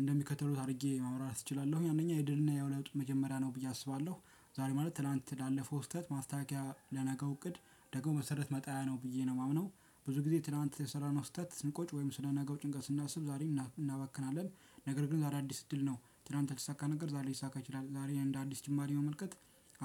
እንደሚከተሉት አድርጌ ማብራራት እችላለሁኝ አንደኛ የድልና የውለጡ መጀመሪያ ነው ብዬ አስባለሁ። ዛሬ ማለት ትላንት ላለፈው ስህተት ማስተካከያ ለነገው እቅድ ደግሞ መሰረት መጣያ ነው ብዬ ነው የማምነው። ብዙ ጊዜ ትናንት የሰራነው ስህተት ስንቆጭ ወይም ስለ ነገው ጭንቀት ስናስብ ዛሬን እናባክናለን። ነገር ግን ዛሬ አዲስ እድል ነው ትላንት ያልተሳካ ካነገር ዛሬ ሊሳካ ይችላል ዛሬ እንደ አዲስ ጅማሪ መመልከት።